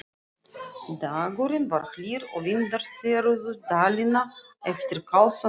Dagurinn var hlýr og vindar þerruðu Dalina eftir kalsa næturinnar.